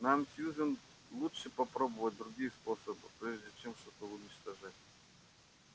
нам сьюзен лучше попробовать другие способы прежде чем что-то уничтожать